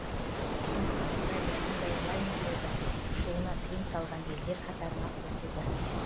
бүгін аустралия мұндай лайнерлердің ұшуына тыйым салған елдер қатарына қосылды